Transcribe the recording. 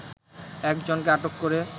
একজনকে আটক করে